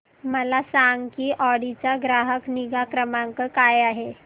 मला सांग की ऑडी चा ग्राहक निगा क्रमांक काय आहे